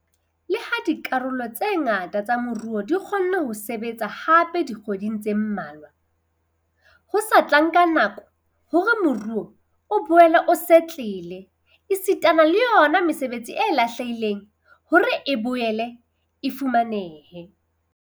Leha dikarolo tse ngata tsa moruo di kgonne ho sebetsa hape dikgwedi tse mmalwa, ho sa tla nka nako hore moruo o boele o setlele esitana le yona mesebetsi e lahlehileng hore e boele e fumanehe.